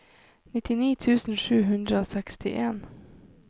nittini tusen sju hundre og sekstien